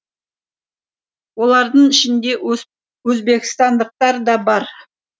олардың ішінде өзбекстандықтар да бар